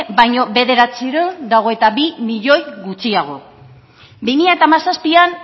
baino bederatziehun eta hogeita bi milioi gutxiago bi mila hamazazpian